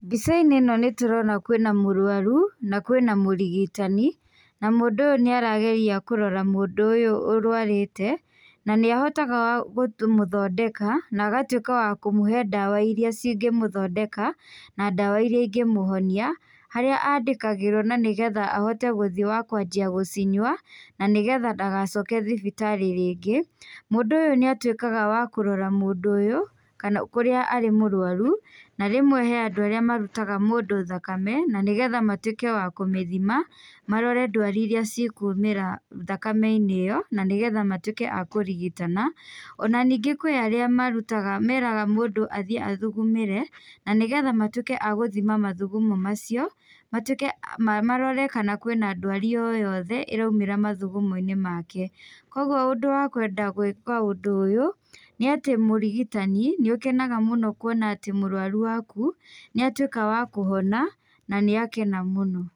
Mbica-inĩ ĩno nĩtũrona kwĩna mũrũaru na kwĩna mũrigitani, na mũndũ ũyũ nĩarageria kũrora mũndũ ũyũ urũarĩte, na nĩahotaga gũtũ kũmũthondeka na agatũika wa kũmũhe dawa iria cingĩmũthondeka na dawa iria ingĩmũhonia , haria andĩkagĩrũo na nĩgetha ahote guthiĩ wa kũajĩa gũcinyũa , na nĩgetha ndagacoke thibitarĩ rĩngĩ, mũndũ ũyũ nĩatũikaga wa kũrora mũndũ ũyũ kana kũria arĩ mũrũaru ,na rĩmwe he andũ arĩa marũtaga mũndũ thakame na nĩgetha matũike wa kũmĩthima, marore ndwari iria cikũmera thakame-ini ĩyo na nĩgetha matũike a kũrigitana,, ona ningĩ kwĩ arĩa marũtaga meraga mũndũ athiĩ athugumĩre, na nĩgetha matũĩke agũthima mathũgumo macĩo, matuĩke marore kana kwĩna ndwari oyothe ĩraumĩra mathugumoĩni make. Kogũo ũndũ wa kwenda gũĩka ũndũ ũyũ nĩ atĩ mũrigitani, nĩũkenaga mũno kũona atĩ mũrũaru waku nĩatuĩka wa kũhona na nĩakena mũno.